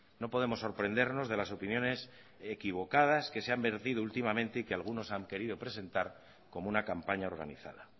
no podemos sorprendernos de las opiniones equivocadas que se han vertido últimamente y que algunos han querido presentar como una campaña organizada